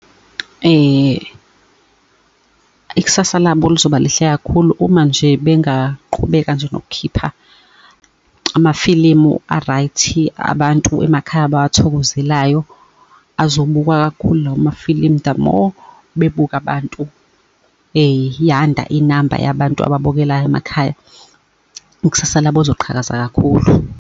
Ikusasa labo luzoba lihle kakhulu uma nje bengaqhubeka nje nokukhipha amafilimu a-right-i. Abantu emakhaya abawathokozelayo, azobukwa kakhulu lawo mafilimu. The more bebuka abantu yanda inamba yabantu ababukelayo emakhaya, ikusasa labo lizoqhakaza kakhulu.